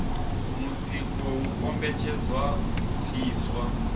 mutsiko u kombetshedzwa u pfiswa